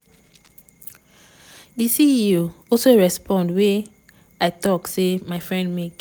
di ceo also respond wia im tok say "my friend make